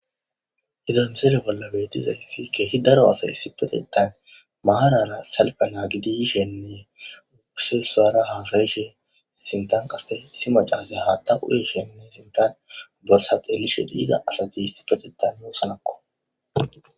Eiza misele bolla betizayssi keehi daro asay issipetettan maarana salfana gidi yishenne ussesara hasareshe sintan qase isi macase haatta u7eishenne sintan bossat elishe dhiiza asati issipetetan nuusonakko.